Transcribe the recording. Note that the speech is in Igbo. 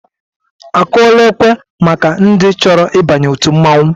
Akụọla ekwe maka ndị chọrọ ịba òtù mmọnwụ?